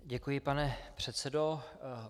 Děkuji, pane předsedo.